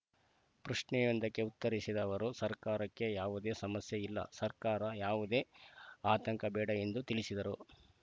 ಪ್ರಶ್ನೆಯೊಂದಕ್ಕೆ ಉತ್ತರಿಸಿದ ಅವರು ಸರ್ಕಾರಕ್ಕೆ ಯಾವುದೇ ಸಮಸ್ಯೆ ಇಲ್ಲ ಸರ್ಕಾರ ಯಾವುದೇ ಆತಂಕ ಬೇಡ ಎಂದು ತಿಳಿಸಿದರು